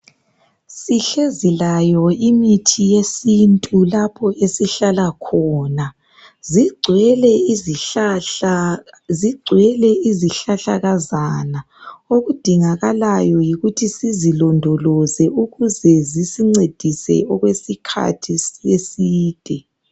Sihlezi layo imithi yesintu lapho esihlala khona zigcwele izihlahla zigwele izihlahlakazana okudingakalayo yikuthi sizilondoloze ukuze zisilondoloze ukuze sisincedise okwesikhathi eside